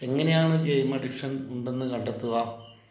എങ്ങനെയാണ് game addiction ഉണ്ടെന്ന് കണ്ടെത്തുക?